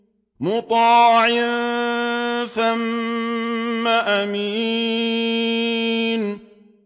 مُّطَاعٍ ثَمَّ أَمِينٍ